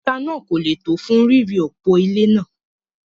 òkúta náà kò le tó fún ríri òpó ilé náà.